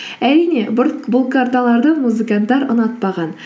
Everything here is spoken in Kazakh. әрине бұл карталарды музыканттар ұнатпаған